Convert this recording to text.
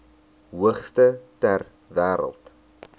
hoogste ter wêreld